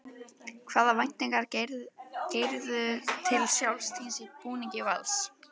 Hvaða væntingar gerirðu til sjálfs þíns í búningi Vals?